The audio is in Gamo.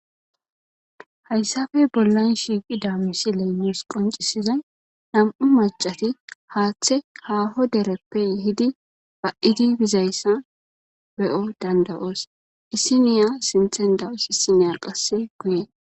Hayssafe bollan shiiqi damisi leemus qoncisizay nam7u macati haaththe haaho dereppe hidi ba7idi bizayssa be7o dandawoos issiniya sinthen da7oos issiniya qasse guye.